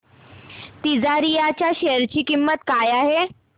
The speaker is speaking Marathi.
तिजारिया च्या शेअर ची किंमत काय आहे